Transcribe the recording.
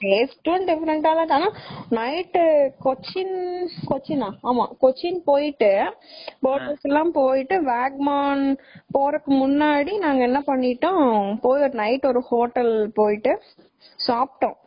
taste டும் different ஆ இருந்துச்சு ஆனா night கொச்சின் கொச்சின்னா ஆமா கொச்சின் போயிட்டு , boat house எல்லாம் போயிட்டு வாகமோன் போறதுக்கு முன்னாடி நாங்க என்ன பண்ணிட்டோம் night ஒரு ஹோட்டல்க்கு போய் சாப்பிட்டோம்.